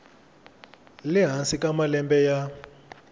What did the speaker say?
le hansi ka malembe ya